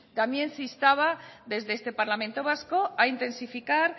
también se instaba desde este parlamento vasco a intensificar